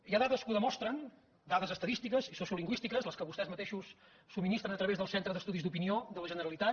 hi ha dades que ho demostren dades estadístiques i sociolingüístiques les que vostès mateixos subministren a través del centre d’estudis d’opinió de la generalitat